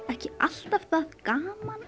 ekki alltaf það gaman